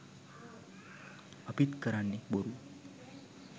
අපිත් කරන්නෙ බොරු